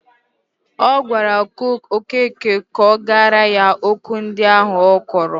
Ọ gwara Okeke kọgarịa okwu ndi ahụ ọ kọrọ